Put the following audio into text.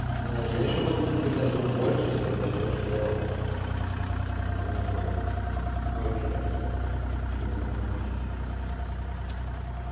да я ещё могу тебе даже больше сказать то что бля ну как